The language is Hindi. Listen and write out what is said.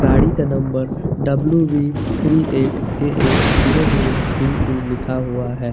गाड़ी का नंबर W V three eight A A zero zero three two लिखा हुआ है।